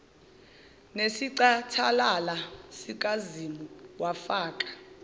nesicathalala sikazimu wafaka